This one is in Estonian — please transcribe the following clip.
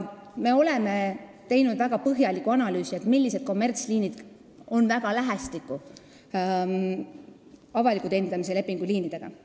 Me oleme teinud väga põhjaliku analüüsi, millised kommertsliinid töötavad väga lähestikku avaliku teenindamise lepingu alusel töötavate liinidega.